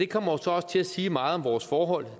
kommer så også til at sige meget om vores forhold